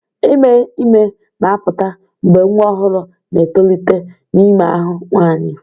Ime ime na-apụta mgbe nwa ọhụrụ na-etolite n'ime ahụ nwanyị.